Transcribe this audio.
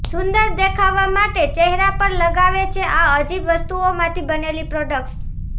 સુંદર દેખાવા માટે ચહેરા પર લગાવે છે આ અજીબ વસ્તુઓમાંથી બનેલી પ્રોડક્ટ્સ